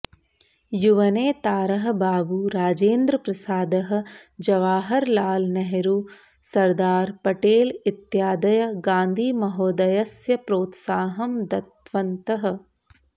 युवनेतारः बाबू राजेन्द्रप्रसादः जवाहर लाल् नेह्रू सर्दार् पटेल् इत्यादयः गान्धिमहोदयस्य प्रोत्साहं दत्तवन्तः